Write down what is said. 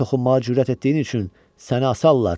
Mənə toxunmağa cürət etdiyin üçün səni asarlar!